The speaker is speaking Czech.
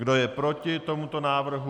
Kdo je proti tomuto návrhu?